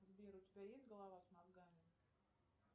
сбер у тебя есть голова с мозгами